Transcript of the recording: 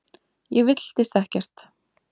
Ég villtist ekkert.